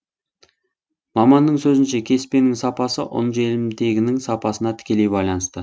маманның сөзінше кеспенің сапасы желімтегінің сапасына тікелей байланысты